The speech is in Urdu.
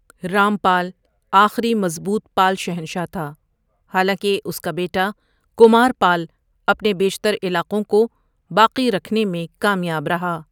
رامپال آخری مضبوط پال شہنشاہ تھا، حالانکہ اس کا بیٹا، کمارپال، اپنے بیشتر علاقوں کوباقی رکھنے میں کامیاب رہا۔